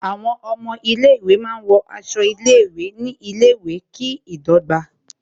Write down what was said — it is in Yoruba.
Àwọn ọmọ ilé ìwé máa ń wọ aṣọ ilé ìwé ní ilé ìwé, kí ìdọ́gba